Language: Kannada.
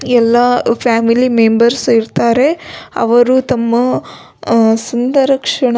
ಎಲ್ಲಾ ಫ್ಯಾಮಿಲಿ ಮೆಂಬರ್ಸ್ ಇರತ್ತರೆ ಅವರು ತಮ್ಮ ಅಹ್ ಸುಂದರ ಕ್ಷಣ.